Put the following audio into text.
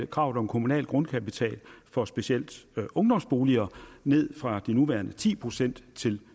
kravet om kommunal grundkapital for specielt ungdomsboliger ned fra de nuværende ti procent til